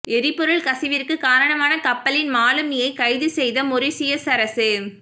எரிபொருள் கசிவிற்குக் காரணமான கப்பலின் மாலிமியை கைது செய்த மொரீஷியஸ் அரசு